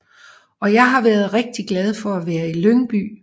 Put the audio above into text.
Og jeg har været rigtig glad for at være i Lyngby